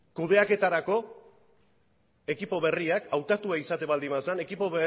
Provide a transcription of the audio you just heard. kudeaketarako ekipo berria hautatua izaten baldin bazen ekipo